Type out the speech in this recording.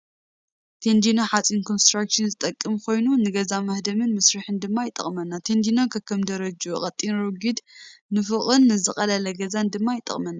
ቴንድኖ ሓፂን ንኮንስትራክሽን ዝጠቅም ኮይኑ ንገዛ መሃደምን መስርሕን ድማ ይጠቅመና ቴንድኖ ከከም ደረጅኡ ቀጢን ረጉድ ንፎቅን ንዝቀለለ ገዛን ድማ ይጠቅመና።